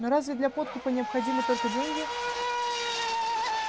но разве для подкупа необходимы только деньги